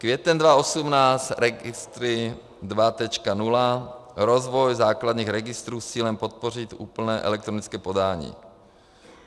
Květen 2018 registry 2.0, rozvoj základních registrů s cílem podpořit úplné elektronické podání.